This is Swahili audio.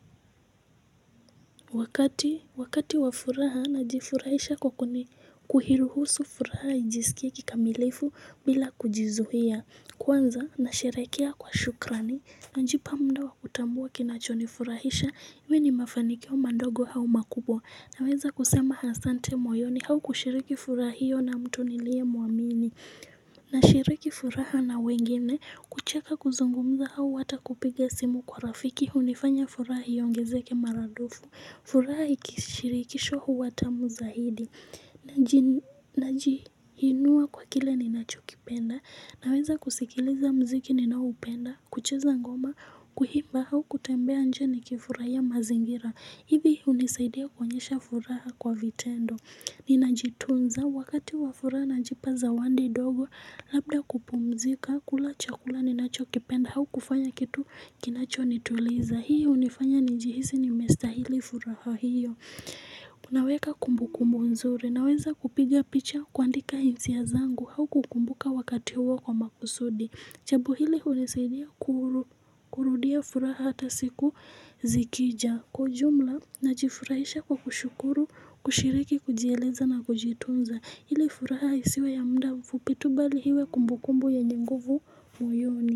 Wakati wakati wa furaha najifurahisha kwa kuni kuhiruhusu furaha ijisikie kikamilifu bila kujizuhia kwanza nasherekea kwa shukrani Najipa muda wa kutambua kinachonifurahisha, iwe ni mafanikio madogo au makubwa Naweza kusema hasante moyoni au kushiriki furaha hio na mtu nilie muamini Nashiriki furaha na wengine, kucheka kuzungumza au wata kupiga simu kwa rafiki hunifanya furaha iongezeke maradufu furaha ikishirikishwa huwa tamu zahidi Najiinua kwa kile ninachokipenda Naweza kusikiliza mziki ninaoupenda kucheza ngoma kuhimba hau kutembea nje nikifurahia mazingira hivi hunisaidia kuonyesha furaha kwa vitendo Ninajitunza wakati wa furaha najipa zawandi dogo Labda kupumzika kula chakula ninachokipenda hau kufanya kitu kinachonituliza Hii hunifanya njihisi nimestahili furaha hiyo Unaweka kumbu kumbu nzuri Naweza kupiga picha kuaandika hisia zangu hau kukumbuka wakati huo kwa makusudi Chabo hili hunisaidia kurudia furaha hata siku zikija kwa ujumla najifurahisha kwa kushukuru, kushiriki, kujieleza na kujitunza. Hili furaha isiwe ya muda mfupi tu bali hiwe kumbukumbu yenye nguvu moyoni.